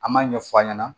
An m'a ɲɛf'a ɲɛna